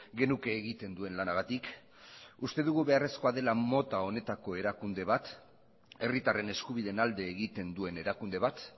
genuke egiten duen lanagatik uste dugu beharrezkoa dela mota honetako erakunde bat herritarren eskubideen alde egiten duen erakunde bat